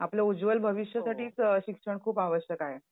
आपलं उज्वल भविष्यासाठीच शिक्षण खूप आवश्यक आहे.